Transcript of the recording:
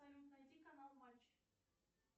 салют найди канал матч